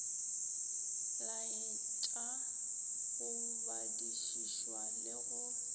laetša go badišišwa le go